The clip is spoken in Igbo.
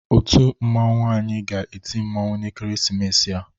Otu mmanwụ anyị ga-eti mmanwụ n'ekeresimesi a.